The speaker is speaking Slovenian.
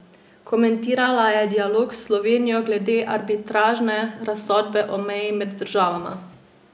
Komentirala je dialog s Slovenijo glede arbitražne razsodbe o meji med državama.